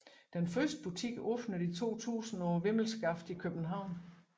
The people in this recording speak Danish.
Den første butik åbnede i 2000 på Vimmelskaftet i København